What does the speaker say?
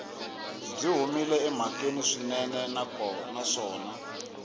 byi humile emhakeni swinene naswona